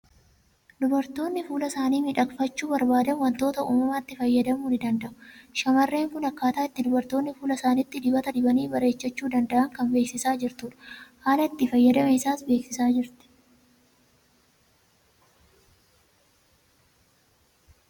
Dubartoonni fuula isaanii miidhagfachuu barbaadan waantota uumamaatti fayyadamuu ni danda'u. Shamarreen kun akkaataa itti dubartoonni fuula isaaniitti dibata dibanii bareechachuu danda'an kan beeksisaa jurtudha. Haala itti fayyadama isaa beeksisaa jirti.